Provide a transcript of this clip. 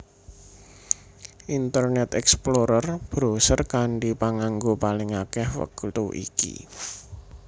Internet Explorer browser kanthi panganggo paling akèh wektu iki